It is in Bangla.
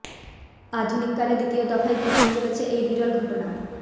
আধুনিক কালে দ্বিতীয় দফায় ঘটতে চলেছে এই বিরল ঘটনা